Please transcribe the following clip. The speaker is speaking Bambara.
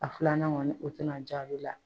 A filanan kɔni o tina ja ale la.